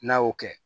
N'a y'o kɛ